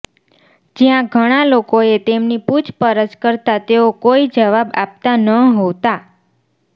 જ્યાં ઘણા લોકોએ તેમની પૂછપરછ કરતાં તેઓ કોઈ જવાબ આપતાં નહોતાં